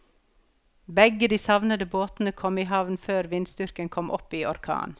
Begge de savnede båtene kom i havn før vindstyrken kom opp i orkan.